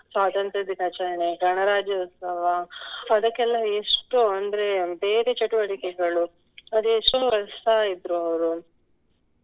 ಸ್ವಾತಂತ್ರ್ಯ ದಿನಾಚರಣೆ ಗಣರಾಜ್ಯೋತ್ಸವ ಅದಕ್ಕೆಲ್ಲ ಎಷ್ಟು ಅಂದ್ರೆ ಬೇರೆ ಚಟುವಟಿಕೆಗಳು ಅದೆಷ್ಟು ವರ್ಷ ಇದ್ರೂ ಅವ್ರು